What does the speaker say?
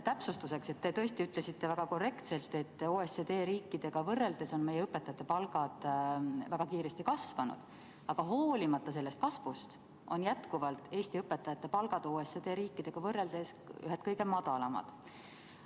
Täpsustuseks: te tõesti ütlesite väga korrektselt, et OECD riikidega võrreldes on meie õpetajate palgad väga kiiresti kasvanud, aga hoolimata sellest kasvust on jätkuvalt Eesti õpetajate palgad OECD riikidega võrreldes ühed kõige madalamad.